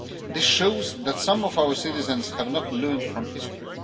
This shows that some of our citizens have not learnt from history.